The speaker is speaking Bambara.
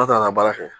An ka baara kɛ